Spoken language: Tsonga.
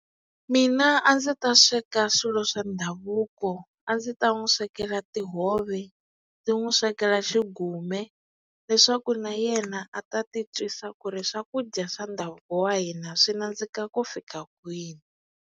Mina a ndzi ta sweka swilo swa ndhavuko a ndzi ta n'wi swekela tihove ndzi n'wi swekela xigume leswaku na yena a ta ti twisa ku ri swakudya swa ndhavuko wa hina swi nandzika ku fika kwini.